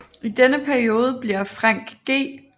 I denne periode bliver Frank G